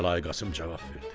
Kərbəlayı Qasım cavab verdi.